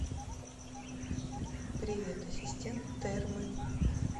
привет ассистент термы